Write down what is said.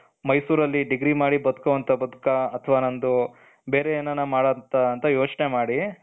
ಮೈಸೂರಲ್ಲಿ degree ಮಾಡಿ ಬದುಕು ಅಂತ ಬದುಕ ಅಥವಾ ನಂದು ಬೇರೆ ಏನನ ಮಾಡು ಅಂತ ಯೋಚನೆ ಮಾಡಿ,